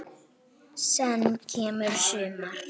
Senn kemur sumar.